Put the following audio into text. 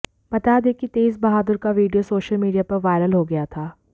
बता दें कि तेज बहादुर का वीडियो सोशल मीडिया पर वायरल हो गया था